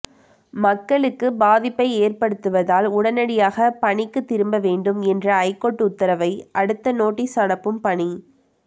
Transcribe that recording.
மக்களுக்கு பாதிப்பை ஏற்படுத்துவதால் உடனடியாக பணிக்கு திரும்ப வேண்டும் என்ற ஐகோர்ட் உத்தரவை அடுத்து நோட்டீஸ் அனுப்பும் பணி